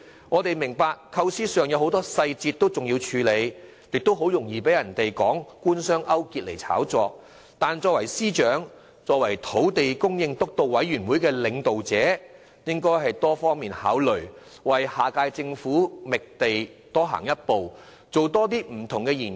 我們明白在構思上還有很多細節需要處理，也很容易被人以官商勾結作理由炒作一番，但作為司長及土地供應督導委員會的領導者，他應作多方面考量，為下屆政府的覓地工作多走一步，多作不同研究。